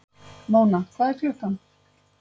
Móna, hvað er klukkan?